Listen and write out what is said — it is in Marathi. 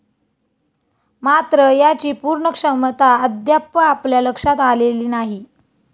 मात्र याची पूर्ण क्षमता अद्याप आपल्या लक्षात आलेली नाही.